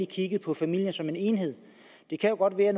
kiggede på familien som en enhed det kan jo godt være at